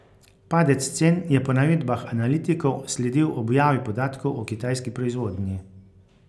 Padec cen je po navedbah analitikov sledil objavi podatkov o kitajski proizvodnji.